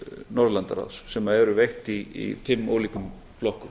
norðurlandaráðs sem eru veitt í fimm ólíkum flokkum